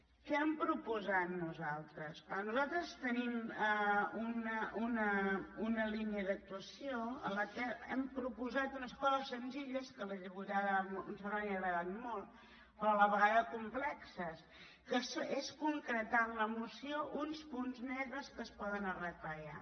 què hem proposat nosaltres clar nosaltres tenim una línia d’actuació en què hem proposat unes coses senzilles que a la diputada montserrat li han agradat molt però a la vegada complexes que és concretar en la moció uns punts negres que es poden arreglar ja